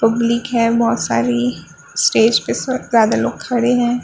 Public हैं बहुत सारी स्टेज पे शो ज़्यादा लोग खड़े हैं।